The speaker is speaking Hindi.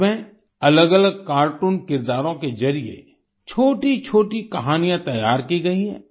इसमें अलग अलग कार्टून किरदारों के जरिए छोटीछोटी कहानियां तैयार की गई हैं